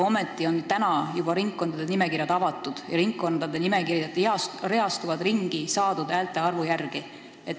Ometi on ringkondade nimekirjad juba praegu avatud ja reastuvad ringi saadud häälte arvu järgi.